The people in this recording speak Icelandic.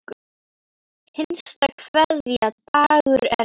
Hinsta kveðja Dagur er nærri.